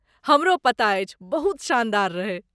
हमरो पता अछि! बहुत शानदार रहै।